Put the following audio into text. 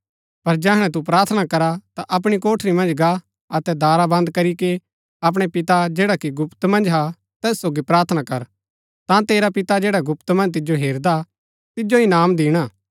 पर जैहणै तु प्रार्थना करा ता अपणी कोठरी मन्ज गा अतै दारा बन्द करी कै अपणै पिता जैडा कि गुप्त मन्ज हा तैस सोगी प्रार्थना कर तां तेरा पिता जैडा गुप्त मन्ज तिजो हेरदा तिजो इनाम दिणा